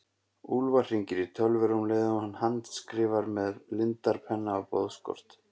Úlfar hringir í Tölver um leið og hann handskrifar með lindarpenna á boðskort.